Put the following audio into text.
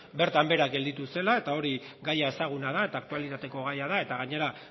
bertan behera gelditu zela gaia ezaguna da eta aktualitateko gaia da gainera